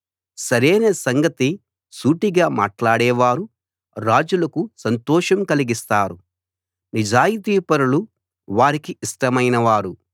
సరైన సంగతి సూటిగా మాట్లాడేవారు రాజులకు సంతోషం కలిగిస్తారు నిజాయితీపరులు వారికి ఇష్టమైనవారు